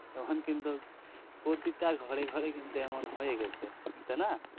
প্রতিটা ঘরে ঘরে কিন্তু এমন হয়ে গেছে তাই না